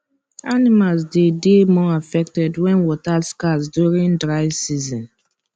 animals dey dey more affected wen water scarce during dry season